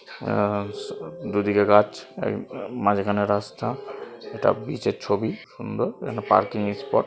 আঁ দুদিকে গাছ মাঝখানে রাস্তা একটা ব্রিজ এর ছবি সুন্দর এখানে পার্কিং এ স্পট --